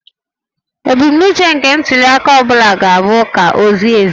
Ebumnuche nke ntuliaka ọ bụla ga-abụ ka ọ zie ezie